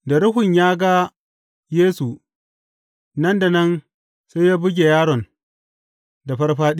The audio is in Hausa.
Da ruhun ya ga Yesu, nan da nan sai ya buge yaron da farfaɗiya.